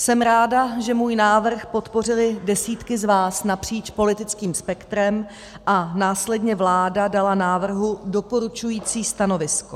Jsem ráda, že můj návrh podpořily desítky z vás napříč politickým spektrem a následně vláda dala návrhu doporučující stanovisko.